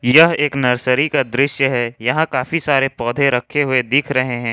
यह एक नर्सरी का दृश्य है यहां काफी सारे पौधे रखे हुए दिख रहे हैं।